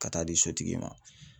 Ka taa di sotigi ma